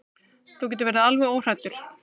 Þú getur verið alveg óhræddur.